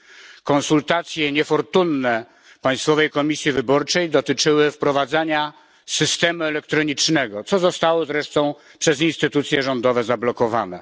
Niefortunne konsultacje Państwowej Komisji Wyborczej dotyczyły wprowadzenia systemu elektronicznego, co zostało zresztą przez instytucje rządowe zablokowane.